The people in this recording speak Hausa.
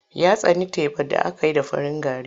Ya tsani tebar da aka yi da farin gari.